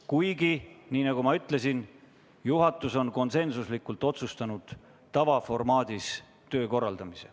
Kuigi, nagu ma ütlesin, juhatus on konsensuslikult otsustanud korraldada töö tavaformaadis.